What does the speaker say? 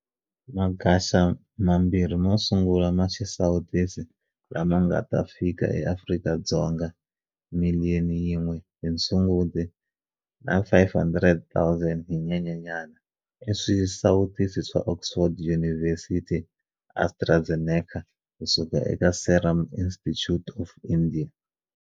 Magaxa mabirhi mo sungula ma xisawutisi la ma nga ta fika eAfrika-Dzonga, miliyoni yin'we hi Sunguti na 500 000 hi Nyenyenyana, i swisawutisi swa Oxford University-AstraZeneca ku-suka eka Serum Institute of India.